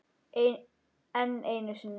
Enn einu sinni.